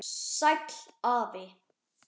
Sæll afi.